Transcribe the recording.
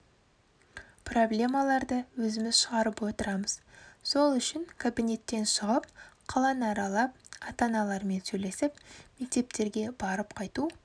проблемаларды өзіміз шығарып отырамыз сол үшін кабинеттен шығып қаланы аралап ата-аналармен сөйлесіп мектептерге барып қайту